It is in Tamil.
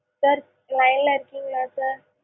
sir line ல இருக்கீங்களா sir?